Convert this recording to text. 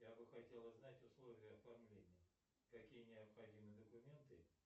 я бы хотел узнать условия оформления какие необходимы документы